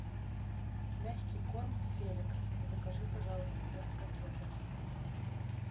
мягкий корм феликс закажи пожалуйста пять пакетов